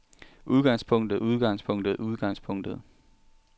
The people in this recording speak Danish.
udgangspunktet udgangspunktet udgangspunktet